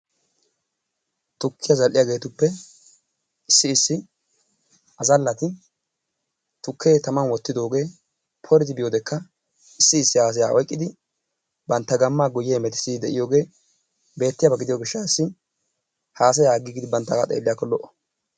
Tukkiyaa zal''iyaageetuppe issi issi azalati tukke tamman wottooge poridi biyoodekka issi issi haassaya oyqqidi bantta gammaa guyee hemettissidi de'iyooge beettiyaaba gidiyo gishshatassi haassayya aggigidi banttaaga xeelliyakko lo''o.